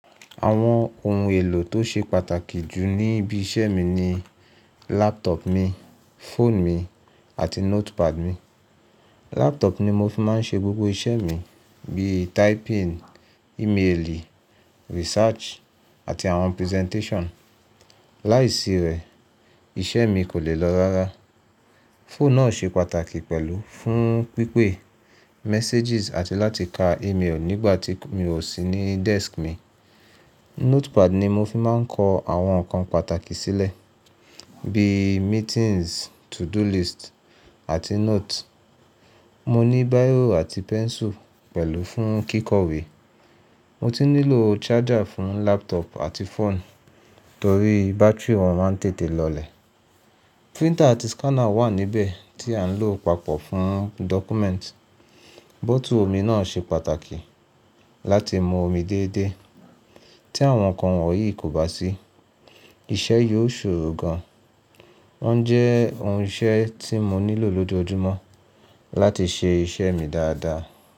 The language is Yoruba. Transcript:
Àwọn ohun èlò tó ṣe pàtàkì jù níbí iṣẹ́ mi ni laptop mi, fóònù mi, àti notepad mi. Laptop ni mo fi máa ń ṣe gbogbo iṣẹ́ mi bíi typing, emailing, research, àti àwọn presentation. Láìsí rẹ̀, iṣẹ́ mi kò lè lọ rárá. Fóònù náà ṣe pàtàkì pẹ̀lú fún pípé, messages, àti láti ka email nígbà tí mi ò sí ní desk mi. Notepad ni mo fi máa ń kọ àwọn nǹkan pàtàkì sílẹ̀ bíi meetings, to-do list, àti note. Mo ní bíró àti pencil pẹ̀lú fún kíkọ̀wé. Mo tún nílò charger fún laptop àti fóònù torí bátírì wọn máa ń tètè lọlẹ̀. Printer àti scanner wà níbẹ̀ tí à ń lò papọ̀ fún document. Bottle omi náà ṣe pàtàkì láti mu omi déédéé. Tí àwọn nǹkan wọ̀nyí kò bá sí, iṣẹ́ yóò ṣòro gan. Wọ́n jẹ́ ohun iṣẹ́ tí mo nílò lójoojúmọ́ láti ṣe iṣẹ́ mi dáadáa.